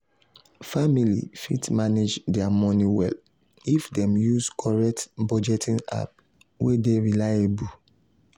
family fit manage their money well if dem use correct budgeting app wey dey reliable.